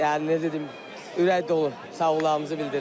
Yəni necə deyim, ürək dolu sağolmalarımızı bildirirəm.